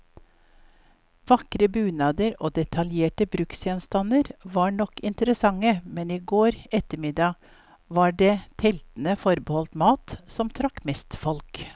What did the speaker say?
Vakre bunader og detaljerte bruksgjenstander var nok interessante, men i går ettermiddag var det teltene forbeholdt mat, som trakk mest folk.